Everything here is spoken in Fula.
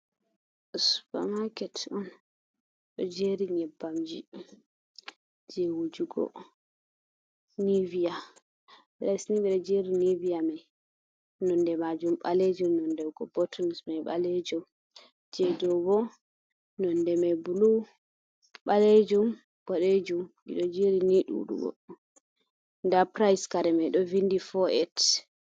Supermarket on ɗo jeri nyebbamji je wujugo nivia. Ɓeɗo jeri nivia mai nonde majum ɓalejum, nonde bottle mai ɓalejum, je ɗo bo nonde mai bulu, ɓalejum, boɗejum. Ɗi ɗo jeri ni ɗuɗugo. Nda price kare mai do vindi fo’et(48).